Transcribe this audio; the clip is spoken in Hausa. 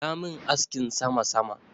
Ya min askin sama-sama.